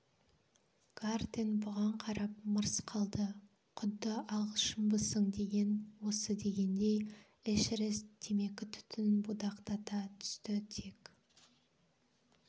гартен бұған қарап мырс қалды құдды ағылшынбысың деген осы дегендей эшерест темекі түтінін будақтата түсті тек